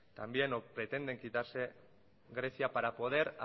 también o pretenden quitarse grecia para poder